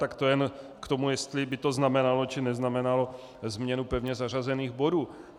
Tak to jen k tomu, jestli by to znamenalo, či neznamenalo změnu pevně zařazených bodů.